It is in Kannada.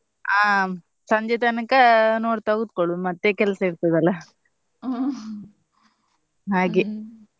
ಅಹ್ ಸಂಜೆ ತನಕ ನೋಡ್ತಾ ಕುತ್ಕೊಳ್ಳುದು ಮತ್ತೆ ಕೆಲ್ಸ ಇರ್ತದಲ್ಲ ಹಾ ಹಾಗೆ.